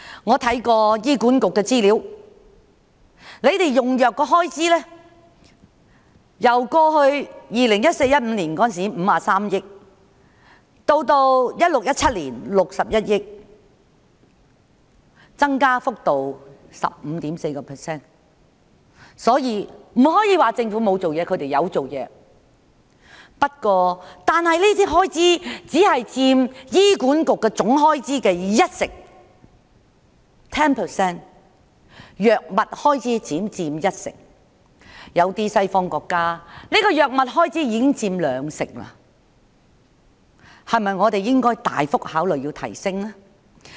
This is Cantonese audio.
我看過醫管局的資料，醫管局的藥物開支由過去 2014-2015 年度時的53億元，到了 2016-2017 年度的61億元，增幅是 15.4%， 所以，大家不能說政府沒有做事，政府是有做事的，不過，藥物開支只佔醫管局總開支的 10%， 相比有些西方國家的藥物開支已佔 20%， 我們是否應考慮大幅增加有關開支呢？